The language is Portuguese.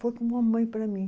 Foi como uma mãe para mim.